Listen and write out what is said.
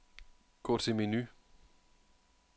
Gå til menu.